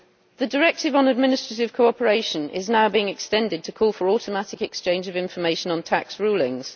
The Directive on Administrative Cooperation is now being extended to call for automatic exchange of information on tax rulings.